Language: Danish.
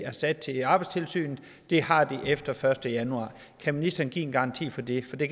afsat til arbejdstilsynet har det efter første januar kan ministeren give en garanti for det fordi